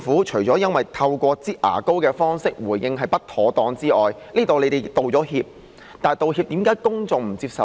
除了透過"擠牙膏"方式回應是不妥當外，而政府亦已就此道歉，但為何公眾不接受呢？